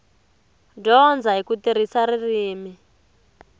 dyondza hi ku tirhisa ririmi